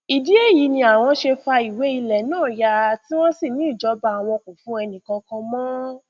ìdí èyí ni àwọn ṣe fa ìwé ilẹ náà ya tí wọn sì ní ìjọba àwọn kò fún ẹnìkankan mọ